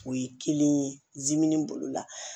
O ye kelen ye bolo la